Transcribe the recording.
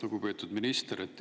Lugupeetud minister!